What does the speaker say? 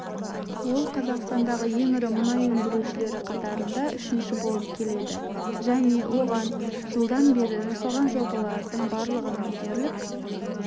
ол қазақстандағы ең ірі мұнай өндірушілері қатарында үшінші болып келеді және оған жылдан бері жасалған жобалардың барлығының дерлік